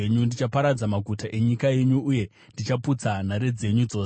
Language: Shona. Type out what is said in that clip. Ndichaparadza maguta enyika yenyu uye ndichaputsa nhare dzenyu dzose.